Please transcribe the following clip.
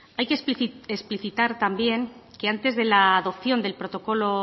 hay que explicitar también que antes de la adopción del protocolo